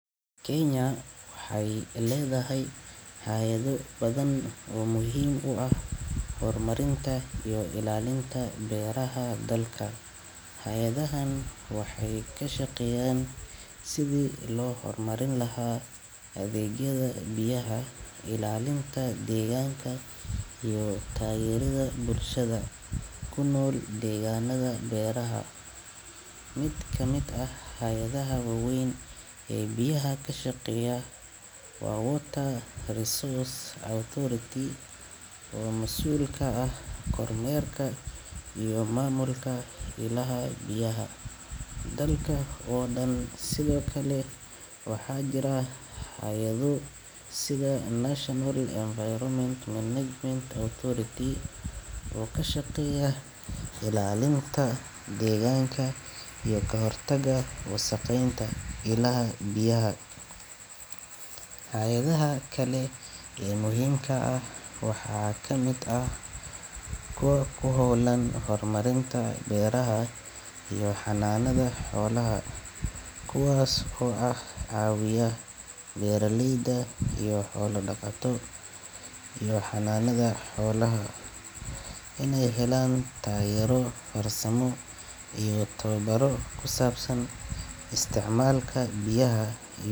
Kenya waxay ledahay hay'ado badan p muhim u ah hormarinta iyo ilaalinta beeraha dalka, Hayadahan waxay kashaqeyan sidi lo hormarin laha adeegyada biyaha ilaalinta deganka iyo taagerida bulshada kunol deeganada beeraha. Mid kamid ah hayadaha waweyn e biyaha kashaqeya wa Water resource Authority o masuul ka'ah kormeerka iyo mamulka ilaha biyaha dalka o dan sido kale waxajira haayado sida National environment management authority kashaqeeya ilalinta deganka iyo kohortaga wasaqeynta ilaha biyaha. Hayadaha kale e muhimka ah waxa kamid ah kuwa kuhowlan hormarinta beeraha iyo xananada xolaha kuwas o ah cawiya beraleyda iyo xola daqatado iyo xananado inay helan tageero farasamo iyo tawabaro kusabsan isticmalka biyaha.